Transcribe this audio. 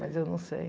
Mas eu não sei.